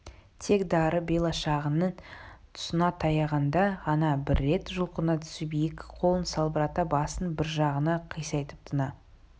тек дары белағашының тұсына таяғанда ғана бір рет жұлқына түсіп екі қолын салбырата басын бір жағына қисайтып тына